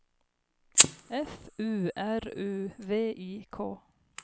F U R U V I K